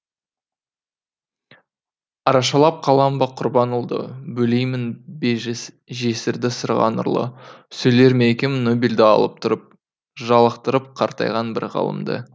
арашалап қалам ба құрбан ұлды бөлеймін бе жесірді сырға нұрлы сөйлер ме екем нобельді алып тұрып жалықтырып қартайған бір ғалымды